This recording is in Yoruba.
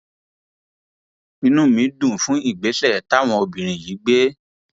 inú mi dùn fún ìgbésẹ táwọn obìnrin yìí gbé